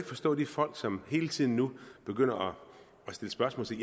forstå de folk som hele tiden nu begynder at stille spørgsmål til